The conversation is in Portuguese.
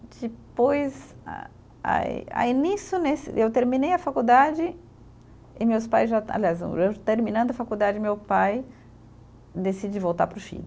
Depois, a aí aí nisso, nesse eu terminei a faculdade e meus pais já, aliás, eu terminando a faculdade, meu pai decide voltar para o Chile.